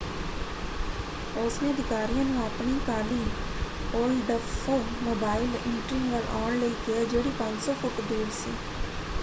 ਉਸਨੇ ਅਧਿਕਾਰੀਆਂ ਨੂੰ ਆਪਣੀ ਕਾਲੀ ਓਲਡਸਮੋਬਾਈਲ ਇੰਟ੍ਰੀਗ ਵੱਲ ਆਉਣ ਲਈ ਕਿਹਾ ਜਿਹੜੀ 500 ਫੁੱਟ ਦੂਰ ਸੀ।